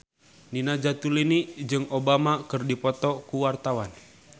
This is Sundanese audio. Nina Zatulini jeung Obama keur dipoto ku wartawan